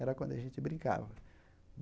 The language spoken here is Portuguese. Era quando a gente brincava.